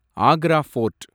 Agra board